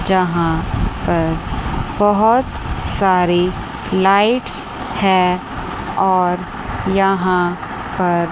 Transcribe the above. जहाॅं पर बहोत सारी लाईट्स हैं और यहाॅं पर--